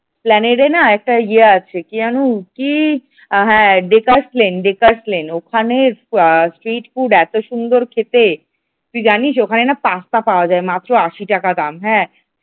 Esplanade না একটা ইয়ে আছে কি যেন কি হ্যাঁ ডেকার্স লেন ডেকার্স লেন ওখানের street food এত সুন্দর খেতে তুই জানিস ওখানে না কাঁকড়া পাওয়া যায় মাত্র আশি টাকা দাম ।